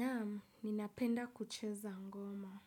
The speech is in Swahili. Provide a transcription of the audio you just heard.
Naam, ninapenda kucheza ngoma.